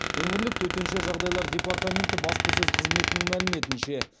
өңірлік төтенше жағдайлар департаменті баспасөз қызметінің мәліметінше